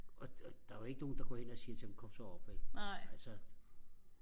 og og der var jo ikke nogen der går hen og siger til ham kom så op vel altså